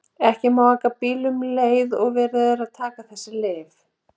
Ekki má aka bíl um leið og verið er að taka þessi lyf.